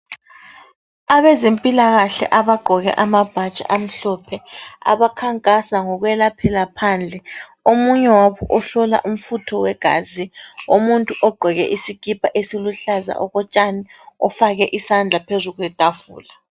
Abazempilakahle abagqoke amabhatshi amhlophe abankangasa ngokwelaphela phandle. Omunye wabo ihlola umfutho wegazi omuntu ogqoke iskhipha esiluhlaza okwetshani ofake isandla phezu kwethafula.